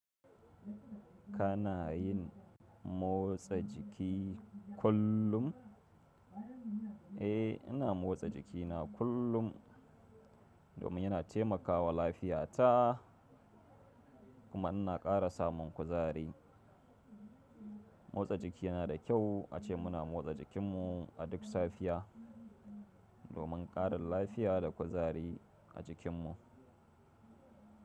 Kana yin motsa jiki kullum? Eh, ina motsa jikina kullum domin yana taimakawa lafiyata kuma ina ƙara samun kuzari. Motsa jiki yana da kyau ace muna motsa jikinmu a duk safiya domin ƙarin lafiya da kuzari a jikinmu.